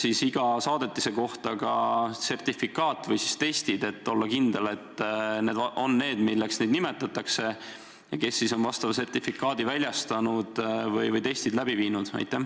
Kas iga saadetise kohta on ka sertifikaat või testid, et olla kindel, et need on need, milleks neid nimetatakse, ja kes on vastava sertifikaadi väljastanud või saadetisi testinud?